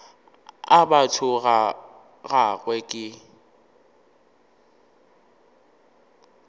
a batho ga gagwe ke